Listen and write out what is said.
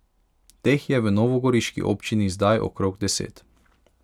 Teh je v novogoriški občini zdaj okrog deset.